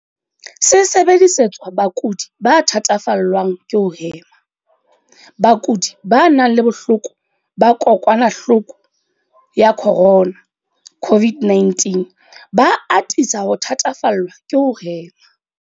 Se sebedisetswa bakudi ba thatafallwang ke ho hema. Bakudi ba nang le bohloko ba kokwanahloko ya corona, CO-VID-19, ba atisa ho thatafallwa ke ho hema.